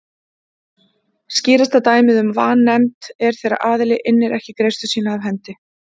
Skýrasta dæmið um vanefnd er þegar aðili innir ekki greiðslu sína af hendi.